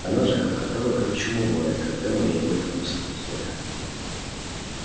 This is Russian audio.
она же хохотала как чумовая когда мы ей об этом рассказывали